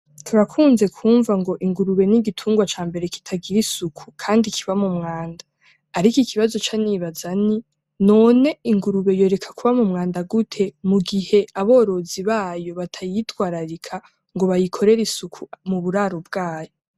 Turakunze kwumva ngo ingurube ni gitungwa ca mbere kitagira isuku kandi kiba mu mwanda ariko ikibazo canibaza ni : "none ingurube yoreka kuba mu mwanda gute mu gihe aborozi bayo batayitwararira ngo bayikorere isuku muburaro byayo?" .